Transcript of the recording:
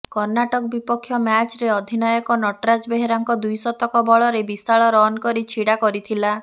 କର୍ଣ୍ଣାଟକ ବିପକ୍ଷ ମ୍ୟାଚରେ ଅଧିନାୟକ ନଟରାଜ ବେହେରାଙ୍କ ଦ୍ୱିଶତକ ବଳରେ ବିଶାଳ ରନ ଛିଡା କରିଥିଲା